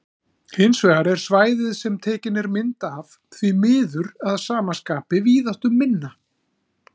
Hins vegar er svæðið sem tekin er mynd af því miður að sama skapi víðáttuminna.